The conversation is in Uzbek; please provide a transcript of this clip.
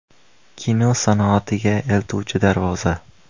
Kino sanoatiga eltuvchi darvoza.